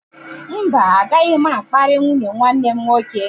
Mba, agaghị m akparị nwunye nwanne m nwoke.